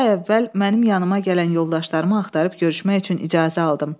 İki ay əvvəl mənim yanımdakı gələn yoldaşlarımı axtarıb görüşmək üçün icazə aldım.